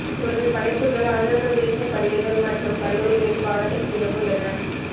இவரது படைப்புகள் ஆந்திரப்பிரதேசப் பள்ளிகள் மற்றும் கல்லூரிகளின் பாடத்திட்டத்திலும் உள்ளன